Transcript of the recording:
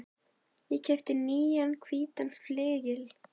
Ég keypti nýjan hvítan flygil.